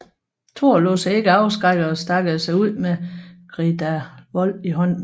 Thor lod sig ikke afskrække og stagede sig ud med Gridarvol i hånden